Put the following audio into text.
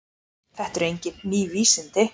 Þetta eru engin ný vísindi.